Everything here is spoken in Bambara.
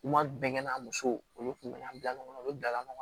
U kuma bɛnkɛ a muso olu kun bɛ na bila ɲɔgɔn kɔ u bɛ bila ɲɔgɔn na